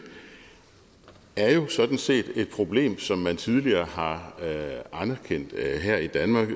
er jo sådan set et problem som man tidligere har anerkendt her i danmark